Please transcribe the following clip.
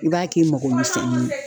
I b'a k'i mago misɛnnin ye.